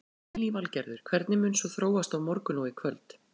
Lillý Valgerður: Hvernig mun svo þróast á morgun og í kvöld?